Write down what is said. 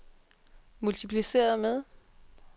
multipliceret med